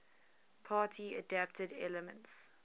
party adapted elements